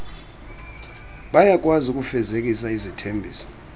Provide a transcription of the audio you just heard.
bayakwazi ukufezekisa izithembiso